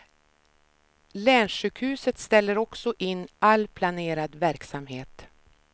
Länssjukhuset ställer också in all planerad verksamhet.